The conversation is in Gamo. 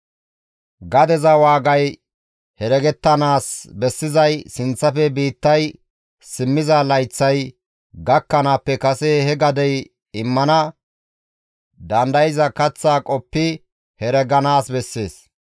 Gadeza waagay heregettanaas bessizay sinththafe biittay simmiza layththay gakkanaappe kase he gadey immana dandayza kaththa qoppi hereganaas bessees.